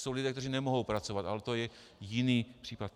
Jsou lidé, kteří nemohou pracovat, ale to je jiný případ.